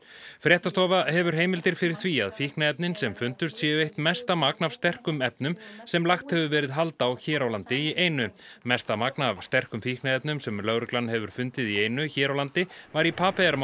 fréttastofa hefur heimildir fyrir því að fíkniefnin sem fundust séu eitt mesta magn af sterkum efnum sem lagt hefur verið hald á hér á landi í einu mesta magn af sterkum fíkniefnum sem lögreglan hefur fundið í einu hér á landi var í